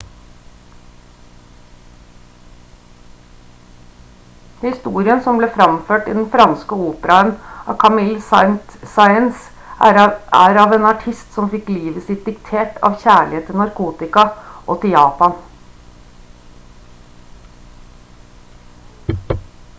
historien som ble framført i den franske operaen av camille saint-saens er av en artist «som fikk livet sitt diktert av kjærlighet til narkotika og til japan»